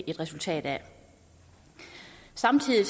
et resultat af samtidig